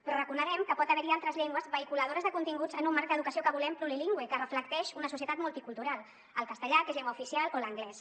però reconeguem que pot haver hi altres llengües vehiculadores de continguts en un marc d’educació que volem plurilingüe que reflecteix una societat multicultural el castellà que és llengua oficial o l’anglès